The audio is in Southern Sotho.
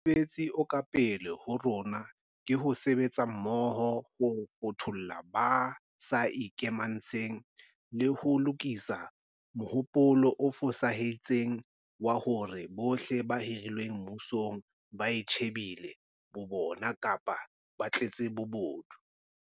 Mosebetsi o ka pele ho rona ke ho sebetsa mmoho ho fothola ba sa ikamantshe ng, le ho lokisa mohopolo o fosahetseng wa hore bohle ba hirilweng mmusong ba itjhe bile bo bona kapa ba tletse bobodu.